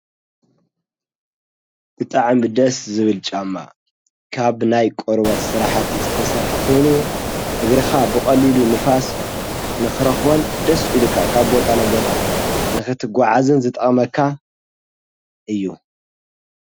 ብጥዕ ምደስ ዝብል ጫማ ካብ ናይ ቆርበት ሠራሕቲ ዝተሠርሕ ኮይኑ እግርኻ ብቐሊሉ ንፋስ ንኽረኽቦን ደስ ኢኢልካ ካብ ቦታነቦታ ንኽትጐዓዝን ዝጠቅመካ እዩ።